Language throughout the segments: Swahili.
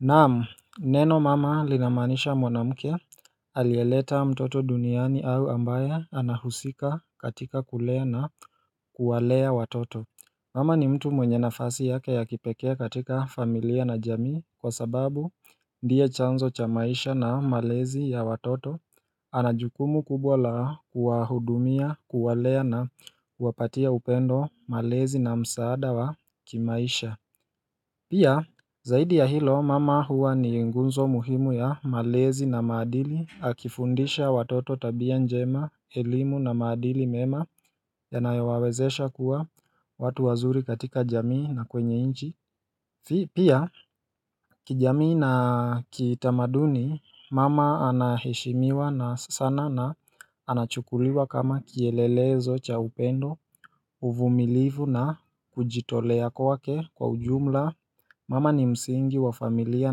Naam, neno mama linamaanisha mwanamke alieleta mtoto duniani au ambaye anahusika katika kulea na kuwalea watoto Mama ni mtu mwenye nafasi yake ya kipekee katika familia na jamii kwasababu ndiye chanzo cha maisha na malezi ya watoto ana jukumu kubwa la kuwahudumia, kuwalea na kuwapatia upendo, malezi na msaada wa kimaisha Pia, zaidi ya hilo, mama huwa ni nguzo muhimu ya malezi na maadili, akifundisha watoto tabia njema, elimu na madili mema, yanayowawezesha kuwa watu wazuri katika jamii na kwenye nchi. Pia kijamii na kitamaduni, mama anaheshimiwa sana na anachukuliwa kama kielelezo cha upendo, uvumilivu na kujitolea kwake kwa ujumla Mama ni msingi wa familia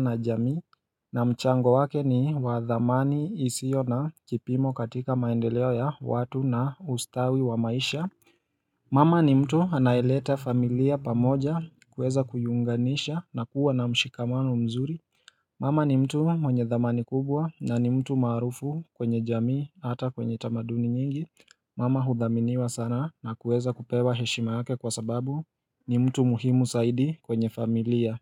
na jamii na mchango wake ni wathamani isiyo na kipimo katika maendeleo ya watu na ustawi wa maisha Mama ni mtu anaeleta familia pamoja kuweza kuiunganisha na kuwa na mshikamano mzuri Mama ni mtu mwenye thamani kubwa na ni mtu maarufu kwenye jamii hata kwenye tamaduni nyingi Mama huthaminiwa sana na kuweza kupewa heshima yake kwasababu ni mtu muhimu zaidi kwenye familia.